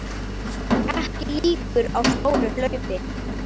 Ekki líkur á stóru hlaupi